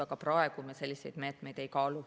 Aga praegu me selliseid meetmeid ei kaalu.